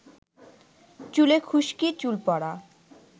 চুলে খুশকি, চুল পড়া,